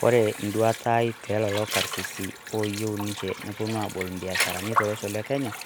kore nduataa aai telolo karsisii oyeu ninshee noponuu abol mbiasharanii toloshoo le kenyaa